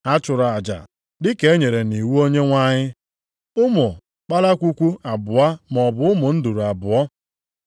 ha chụrụ aja dị ka e nyere nʼiwu Onyenwe anyị: “Ụmụ kpalakwukwu abụọ maọbụ ụmụ nduru abụọ.” + 2:24 \+xt Lev 12:8\+xt*